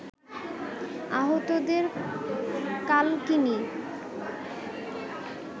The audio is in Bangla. আহতদের কালকিনি